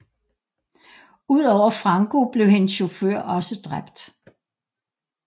Udover Franco blev hendes chauffør også dræbt